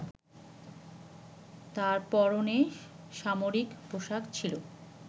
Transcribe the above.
তার পরণে সামরিক পোশাক ছিল।